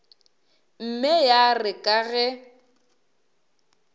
mme ya re ka ge